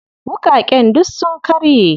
Wuƙaƙen duk sun karye.